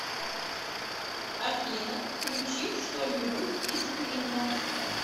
афина включи что нибудь из квинна